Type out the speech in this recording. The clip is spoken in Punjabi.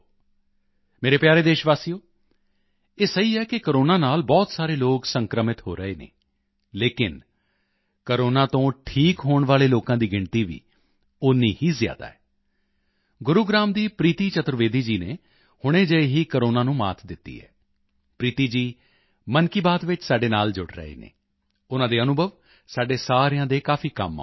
ਮੇਰੇ ਪਿਆਰੇ ਦੇਸ਼ਵਾਸੀਓ ਇਹ ਸਹੀ ਹੈ ਕਿ ਕੋਰੋਨਾ ਨਾਲ ਬਹੁਤ ਸਾਰੇ ਲੋਕ ਸੰਕ੍ਰਮਿਤ ਹੋ ਰਹੇ ਹਨ ਲੇਕਿਨ ਕੋਰੋਨਾ ਤੋਂ ਠੀਕ ਹੋਣ ਵਾਲੇ ਲੋਕਾਂ ਦੀ ਗਿਣਤੀ ਵੀ ਓਨਾ ਹੀ ਜ਼ਿਆਦਾ ਹੈ ਗੁਰੂਗ੍ਰਾਮ ਦੀ ਪ੍ਰੀਤੀ ਚਤੁਰਵੇਦੀ ਜੀ ਨੇ ਹੁਣੇ ਜਿਹੇ ਹੀ ਕੋਰੋਨਾ ਨੂੰ ਮਾਤ ਦਿੱਤੀ ਹੈ ਪ੍ਰੀਤੀ ਜੀ ਮਨ ਕੀ ਬਾਤ ਵਿੱਚ ਸਾਡੇ ਨਾਲ ਜੁੜ ਰਹੇ ਹਨ ਉਨ੍ਹਾਂ ਦੇ ਅਨੁਭਵ ਸਾਡੇ ਸਾਰਿਆਂ ਦੇ ਕਾਫੀ ਕੰਮ ਆਉਣਗੇ